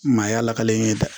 Maaya lakale ye dɛ